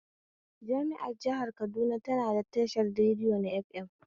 Jami'ar jihar Kaduna tana da tashar radiya na fm